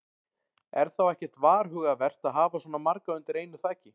Er þá ekkert varhugavert að hafa svona marga undir einu þaki?